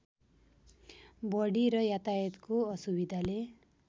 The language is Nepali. गढी र यातायातको असुविधाले